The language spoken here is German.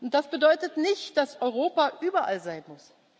Das bedeutet nicht, dass Europa überall sein